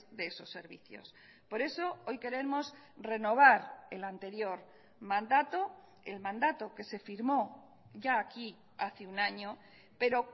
de esos servicios por eso hoy queremos renovar el anterior mandato el mandato que se firmó ya aquí hace un año pero